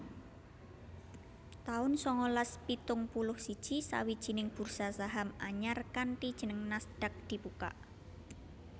taun sangalas pitung puluh siji Sawijining bursa saham anyar kanthi jeneng Nasdaq dibukak